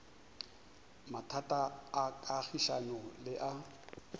mathata a kagišano le a